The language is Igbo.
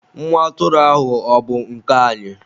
Nwa atụrụ ahụ ọ bụ nke anyị?